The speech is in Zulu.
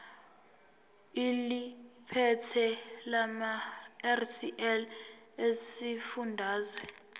eliphethe lamarcl esifundazwe